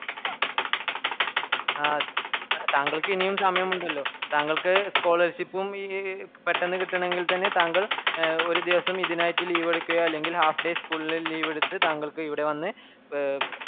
ആഹ് താങ്കൾക്ക് ഇനിയും സമയമുണ്ടല്ലോ താങ്കൾക്ക് scholarship ഉം ഈ പെട്ടന്നകിട്ടാണെങ്കിൽത്തന്നെ താങ്കൾ ഒര് ദിവസം ഇതിനായിറ്റ് leave എടുക്കുകയോ അല്ലെങ്കിൽ half day school leave ഇൽ താങ്കൾക്ക് ഇവിടെ വന്ന്